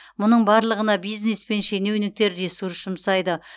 мұның барлығына бизнес пен шенеуніктер ресурс жұмсайды